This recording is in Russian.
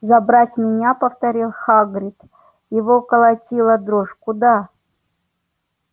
забрать меня повторил хагрид его колотила дрожь куда